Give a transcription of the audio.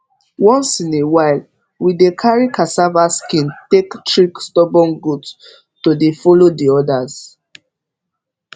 once in a while we dey carry cassava skin take trick stubborn goat to dey follow d others